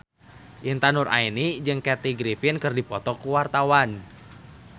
Intan Nuraini jeung Kathy Griffin keur dipoto ku wartawan